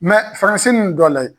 Faransi nun dɔ layɛ.